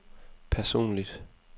personligt